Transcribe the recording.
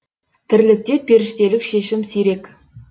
тірлікте періштелік шешім сирек